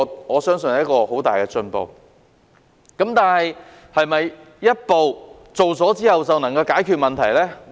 我相信這是很大的進步，但是否做了這一步之後便能夠解決問題呢？